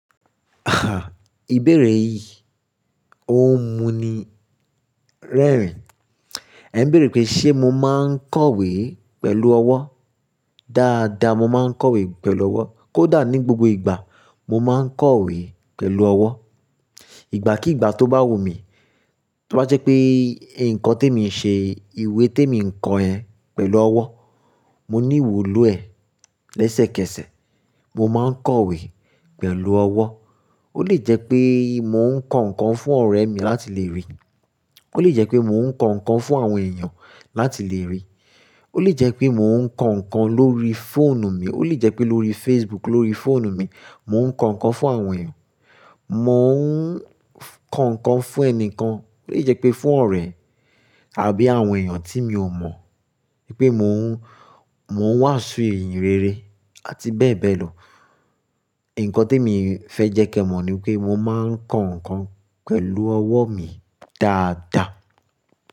Ah! Ìbéèrè yìí ó mú mi rẹ́rìn. Ẹ n béèrè pé ṣe mo máa ń kọ̀wé pẹ̀lú ọwọ́? Dáadáa, mo máa ń kọ̀wé pẹ̀lú ọwọ́. Kódà ní gbogbo ìgbà, mo máa ń kọ̀wé pẹ̀lú ọwọ́. Ìgbà kí ìgbà tó bá wù mí, tó bá jẹ́ pé nǹkan tí emi ń ṣe, ìwé tí emi ń kọ yẹ pẹ̀lú ọwọ́, mo ní ìwúlò ẹ̀ lẹ́sẹ̀kẹsẹ̀. Mo máa ń kọ̀wé pẹ̀lú ọwọ́. Ó lè jẹ́ pé mò ń kọ nǹkan fún ọ̀rẹ́ mi láti lè rí, ó lè jẹ́ pé mò ń kọ nǹkan fún àwọn èèyàn láti lè rí, ó lè jẹ́ pé mò ń kọ nǹkan lórí fóònù mi, ó lè jẹ́ pé lórí Facebook lórí fóònù mi, mò ń kọ nǹkan fún àwọn èèyàn. Mò ń kọ nǹkan fún ẹni kan, ó lè jẹ́ pé fún ọ̀rẹ́ àbí àwọn èèyàn tí mi ò mọ̀. Pé mò ń, mò ń wàásù ìyìnrere àti bẹ́ẹ̀ bẹ́ẹ̀ lọ. Ǹnkan tí emi fẹ́ jẹ́ kí ẹ mọ̀ ni pé mo máa ń kọ nǹkan pẹ̀lú ọwọ́ mi dáadáa.